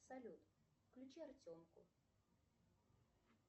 салют включи артемку